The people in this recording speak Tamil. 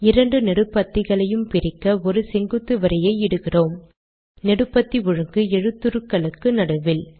இரண்டு நெடுபத்திகளையும் பிரிக்க ஒரு செங்குத்து வரியை இடுகிறோம் நெடுபத்தி ஒழுங்கு எழுத்துருக்களுக்கு நடுவில்